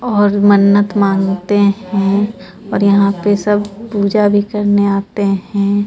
और मन्नत मांगते हैं और यहां पे सब पूजा भी करने आते हैं.